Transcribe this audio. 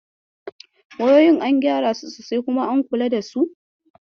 Wayoyin an gyara su sosai kuma an kula da su?